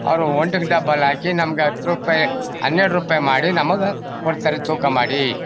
ಅವ್ರು one to ಗೆ double ಹಾಕಿ ನಮಗೆ ಹತ್ ರುಪಾಯಿ ಹನ್ನೆರ್ಡ್ ರುಪಾಯಿ ಮಾಡಿ ನಮಗೆ ಕೊಡ್ತಾರೆ ತೂಕ ಮಾಡಿ